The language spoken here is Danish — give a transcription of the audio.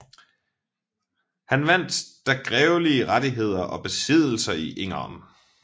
Han vandt der grevelige rettigheder og besiddelser i Engern